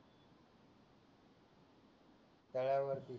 तळ्यावरती